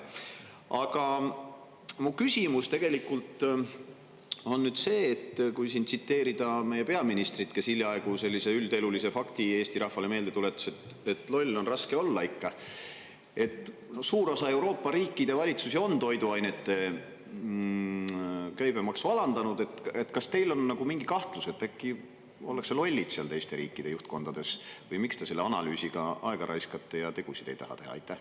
Aga mu küsimus tegelikult on nüüd see – kui siin tsiteerida meie peaministrit, kes hiljaaegu sellise üldelulise fakti Eesti rahvale meelde tuletas, et loll on raske olla ikka –, et kuna suur osa Euroopa riikide valitsusi on toiduainete käibemaksu alandanud, kas teil on mingi kahtlus, et äkki ollakse lollid seal teiste riikide juhtkondades, või miks te selle analüüsiga aega raiskate ja tegusid ei taha teha?